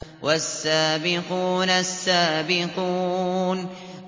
وَالسَّابِقُونَ السَّابِقُونَ